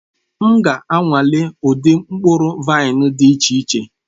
M ga-anwale ụdị mkpụrụ vaịn dị iche iche.